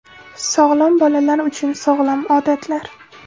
Sog‘lom bolalar uchun sog‘lom odatlar.